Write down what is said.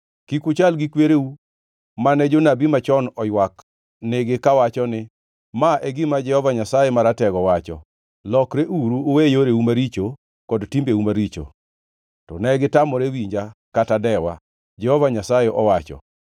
Kik uchal gi kwereu, mane jonabi machon oywak nigi kawacho ni: Ma e gima Jehova Nyasaye Maratego wacho, ‘Lokreuru uwe yoreu maricho kod timbeu maricho.’ To negitamore winja kata dewa, Jehova Nyasaye owacho.